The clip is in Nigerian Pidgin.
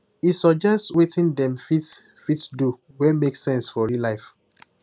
he suggest wetin dem fit fit do wey make sense for real life